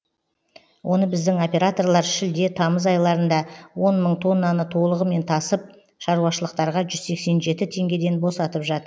оны біздің операторлар шілде тамыз айларында он мың тоннаны толығымен тасып шаруашылықтарға жүз сексен жеті теңгеден босатып жатыр